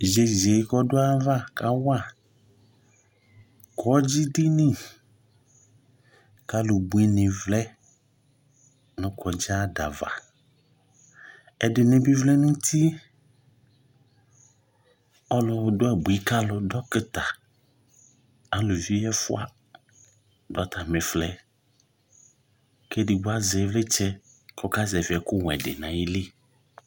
Yeye kɔdo ava kawa kɔdzi dini kalu bui ne vlɛ no kɔdxi adava Ɛdrne be vlɛ no uti Ɔlu do abui ka alu dɔkita aluvi ɛfua do atame flɛ ke edigbo azɛ evletsɛ kɔka zɛvi ɛkowɛ de nayili